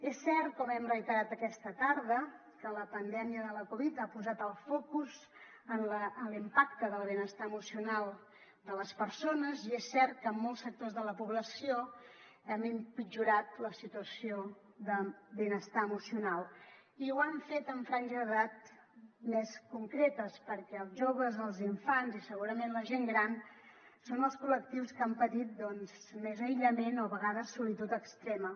és cert com hem reiterat aquesta tarda que la pandèmia de la covid ha posat el focus en l’impacte del benestar emocional de les persones i és cert que en molts sectors de la població ha empitjorat la situació de benestar emocional i ho ha fet en franges d’edat més concretes perquè els joves els infants i segurament la gent gran són els col·lectius que han patit doncs més aïllament o a vegades solitud extrema